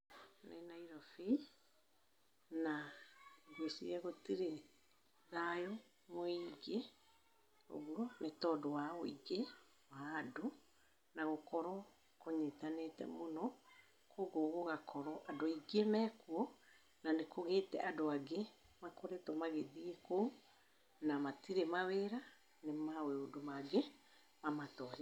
Nĩ Nairobi na ngwĩciria gũtirĩ thayũ mũiingĩ ũguo, nĩtondũ wa wĩingĩ wa andũ, na gũkorwo kũnyitanĩte mũno, kugwo gũgakorwo andũ aingĩ mekuo na nĩkũgĩte andũ angĩ makoretwo magĩthiĩ kũu, na matirĩ mawĩra nĩ maũndũ mangĩ mamatwarĩte.